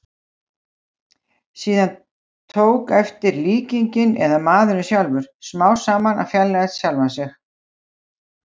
Síðan tók eftir- líkingin, eða maðurinn sjálfur, smám saman að fjarlægjast sjálfan sig.